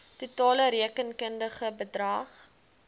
totale rekenkundige bedrag